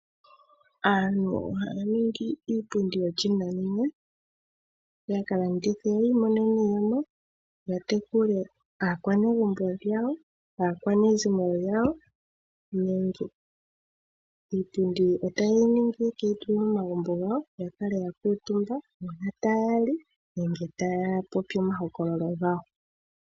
Aantu ohaya ningi iipundi yanakanena, yakalandithe yiimonene mo iiyemo yatekule aakwanezimo yawo, iipundi otaye yi ningi yeke yi tule momagumbo gawo yakale yakuutumba uuna taya li nenge taya popi omahokololo gawo.